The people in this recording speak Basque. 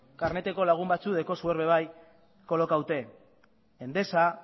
karneteko lagun batzuk daukazue or kolokatuta endesa